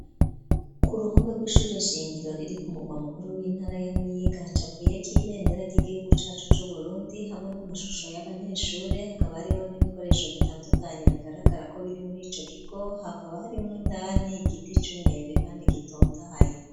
Ku ruhome rw'ishure shingiro riri ku mugwa mukuru w'intara ya muyinga hacapuyeko ibendera ry'igihugu cacu c'uburundi hamwe n'amashusho y'abanyeshure hakaba hariho n'ibikoresho bitandukanye bigaragarako biri mur'ico kigo hakaba harimwo indani igiti c'umwembe kandi gitotahaye.